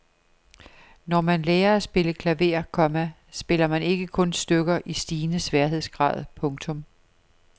Når man lærer at spille klaver, komma spiller man ikke kun stykker i stigende sværhedsgrad. punktum